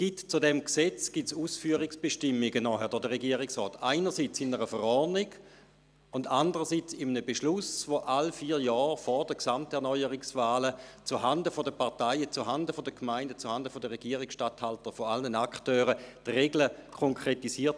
Zu diesem Gesetz werden nachher Ausführungsbestimmungen durch den Regierungsrat erlassen, einerseits in Form einer Verordnung, andererseits mittels eines Beschlusses, welcher alle vier Jahre vor den Gesamterneuerungswahlen zuhanden der Parteien, der Gemeinden und der Regierungsstatthalter, also zuhanden aller Akteure, die Regeln konkretisiert.